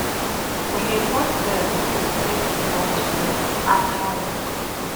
We dey bond well wen we play football togeda after work.